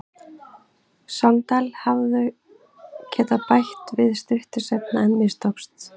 Sogndal hefðu getað bætt við stuttu seinna en mistókst.